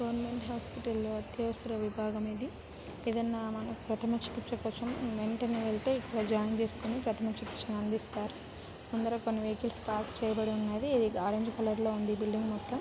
Government hospital అత్యవసర విభాగం ఇది ఏదన్నా మనకు ప్రధమ చికిత్స కోసం వెంటనే వెళ్తే జాయిన్ చేసుకొని ప్రధమ చికిత్స అందిస్తారు ముందర కొన్ని వెహికల్స్ పార్క్ చేయబడి ఉన్నది ఆరెంజ్ కలర్ లో ఉంది ఈ బిల్డింగ్ మొత్తం.